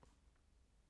DR2